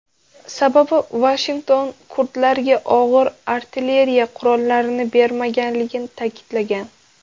Sababi Vashington kurdlarga og‘ir artilleriya qurollarini bermaganligini ta’kidlagan.